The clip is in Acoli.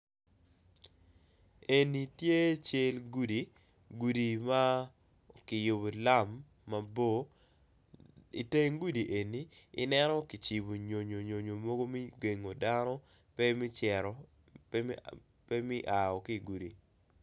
Eni tye cel gudi gudi ma kiyubo lam mabor, i teng gudi eni i neno kicibo nyonyo mogo me gengo dano pe me aa ki gudi.